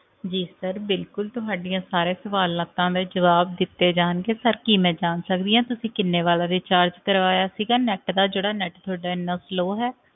ਜੀ sir ਬਿਲਕੁਲ ਤੁਹਾਡੇ ਇਹ ਸਾਰੇ ਸਵਾਲਾਂ ਤਾਂ ਦੇ ਜਵਾਬ ਦਿੱਤੇ ਜਾਣਗੇ sir ਕੀ ਮੈਂ ਜਾਣ ਸਕਦੀ ਆ ਕੀ ਤੁਸੀ ਕਿੰਨੇ ਵਾਲਾ recharge ਕਰਵਾਇਆ ਸੀਗਾ net ਦਾ ਜਿਹੜਾ net ਤੁਹਾਡਾ ਇੰਨਾ slow ਹੈ